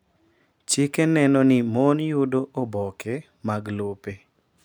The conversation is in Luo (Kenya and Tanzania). Chike neno ni mon yudo oboke mag lope.